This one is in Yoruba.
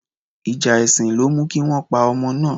Ìjà èsìn ló mú kí wọ́n pa ọmọ náà